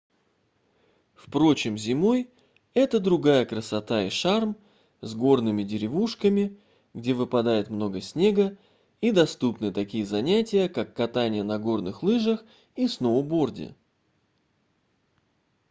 впрочем зимой это другая красота и шарм с горными деревушками где выпадает много снега и доступны такие занятия как катание на горные лыжах и сноуборде